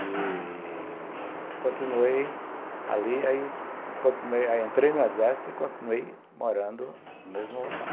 E continuei ali, aí entrei no exército e continuei morando no mesmo local.